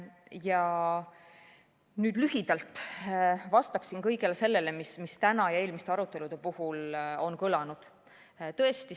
Ja nüüd vastan lühidalt kõigele sellele, mis täna ja eelmiste arutelude puhul on kõlanud.